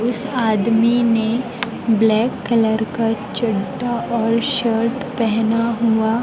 इस आदमी ने ब्लैक कलर का चड्ढा और शर्ट पहना हुआ--